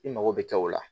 I mago bɛ kɛ o la